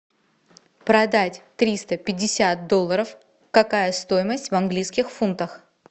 продать триста пятьдесят долларов какая стоимость в английских фунтах